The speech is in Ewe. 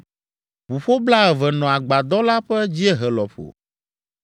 Ʋuƒo blaeve nɔ agbadɔ la ƒe dziehe lɔƒo.